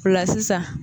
O la sisan